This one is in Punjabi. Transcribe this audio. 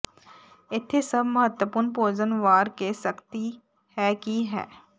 ਇੱਥੇ ਸਭ ਮਹੱਤਵਪੂਰਨ ਭੋਜਨ ਵਾਰ ਕੇ ਸਖਤੀ ਹੈ ਕਿ ਹੈ